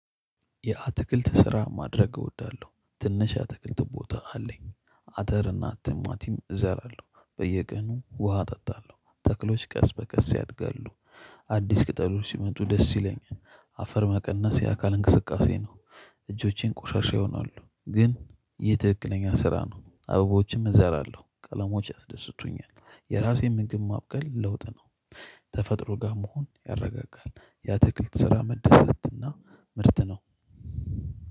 የአትክልት ስራ ማድረግ እወዳለሁ። ትንሽ የአትክልት ቦታ አለኝ አተር እና ቲማቲም እዘራለሁ በየቀኑ ውሃ እጠጣለሁ። ተክሎች ቀስ በቀስ ያድጋሉ አዲስ ቅጠሎች ሲመጡ ደስ ይለኛል። አፈር መቀነስ የአካል እንቅስቃሴ ነው። እጆቼን ቆሻሻ ይሆናሉ፤ ግን ይህ ትክክለኛ ስራ ነው አበቦችም እዘራለሁ ቀለሞች ያስደስቱኛል የራሴን ምግብ ማብቀል ለውጥ ነው። ተፈጥሮ ጋር መሆን ያረጋጋሀል። የአትክልት ስራ መደሰትና ምርት ነው